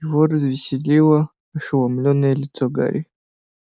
его развеселило ошеломлённое лицо гарри